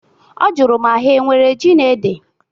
Ọ jụrụ ma ha enwere ji na ede?